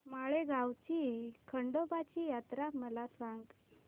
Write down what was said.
माळेगाव ची खंडोबाची यात्रा मला सांग